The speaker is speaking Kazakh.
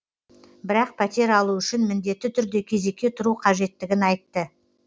бірақ пәтер алу үшін міндетті түрде кезекке тұру қажеттігін айтты